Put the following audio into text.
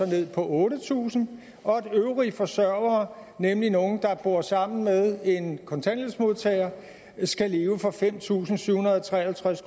ned på otte tusind og at de øvrige forsørgere nemlig nogle der bor sammen med en kontanthjælpsmodtager skal leve for fem tusind syv hundrede og tre og halvtreds